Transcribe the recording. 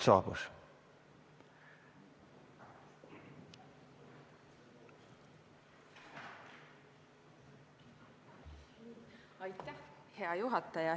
Hea juhataja!